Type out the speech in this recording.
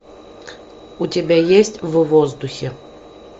у тебя есть в воздухе